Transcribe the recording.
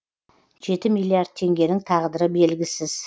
жеті миллиард теңгенің тағдыры белгісіз